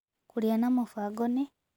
Kũrĩa na mũbango nĩ